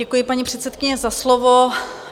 Děkuji, paní předsedkyně, za slovo.